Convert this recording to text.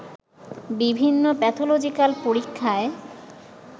বিভিন্ন প্যাথলজিক্যাল পরীক্ষায়